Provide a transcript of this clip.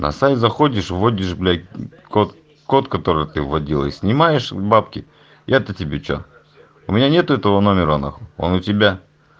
на сайт заходишь вводишь блять код код который ты вводилось и снимаешь бабки это тебе что у меня нет этого номера нахуй он у тебя